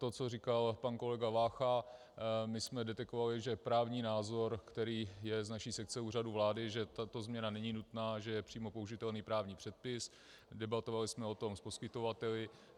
To, co říkal pan kolega Vácha, my jsme detekovali, že právní názor, který je z naší sekce Úřadu vlády, že tato změna není nutná, že je přímo použitelný právní předpis, debatovali jsme o tom s poskytovateli.